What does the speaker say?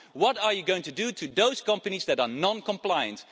What are you going to do to those companies that are non-compliant?